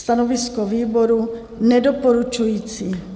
Stanovisko výboru nedoporučující.